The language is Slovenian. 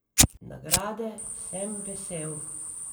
Nagrade sem vesel.